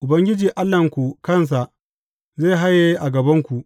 Ubangiji Allahnku kansa zai haye a gabanku.